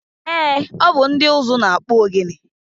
Eé, ọ bụ ndị ụzụ na-akpụ ogene.